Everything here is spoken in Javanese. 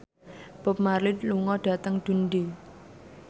Bob Marley lunga dhateng Dundee